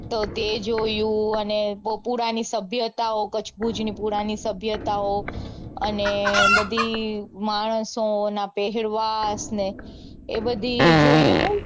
તો તે જોયું અને કચ્છ ભુજ ની પુરાણી સભ્યતાઓ અને બધી માણસોના પહેરવેશ ને એ બધી જોઈને બઉ